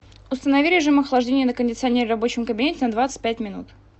установи режим охлаждения на кондиционере в рабочем кабинете на двадцать пять минут